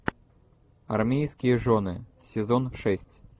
армейские жены сезон шесть